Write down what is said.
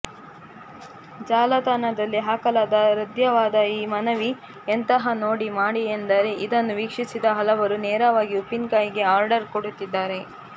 ಜಾಲತಾಣದಲ್ಲಿ ಹಾಕಲಾದ ಹೃದ್ಯವಾದ ಈ ಮನವಿ ಎಂತಹ ಮೋಡಿ ಮಾಡಿದೆಯೆಂದರೆ ಇದನ್ನು ವೀಕ್ಷಿಸಿದ ಹಲವರು ನೇರವಾಗಿ ಉಪ್ಪಿನಕಾಯಿಗೆ ಆರ್ಡರ್ ಕೊಡುತ್ತಿದ್ದಾರೆ